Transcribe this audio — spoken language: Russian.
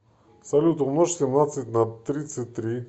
салют умножь семнадцать на тридцать три